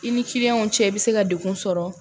I ni kiliyanw cɛ i bɛ se ka degun sɔrɔ